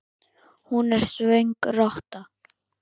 Hún er svöng rotta.